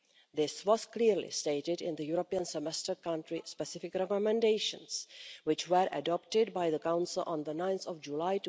This was clearly stated in the European Semester country specific recommendations, which were adopted by the Council on 9 July